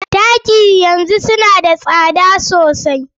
Taki yanzu suna da tsada sosai.